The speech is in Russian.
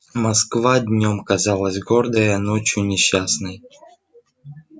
москва днём казалась гордой а ночью несчастной